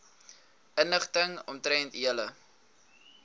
inligting omtrent julle